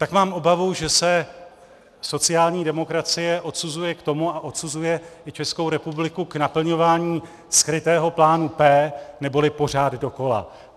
Tak mám obavu, že se sociální demokracie odsuzuje k tomu a odsuzuje i Českou republiku k naplňování skrytého plánu P, neboli pořád dokola.